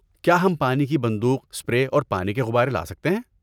کیا ہم پانی کی بندوق، اسپرے اور پانی کے غبارے لا سکتے ہیں؟